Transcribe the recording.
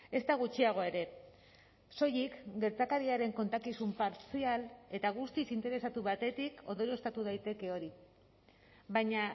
ezta gutxiago ere soilik gertakariaren kontakizun partzial eta guztiz interesatu batetik ondorioztatu daiteke hori baina